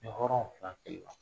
Ni hɔrɔnw fana